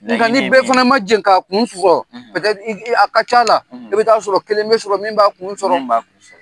Nka ni bɛɛ fana ma jɛ k'a kun sɔrɔ, , a ka ca la , i bɛ taa sɔrɔ kelen bɛ sɔrɔ min b'a kun sɔrɔ , min b'a kun sɔrɔ.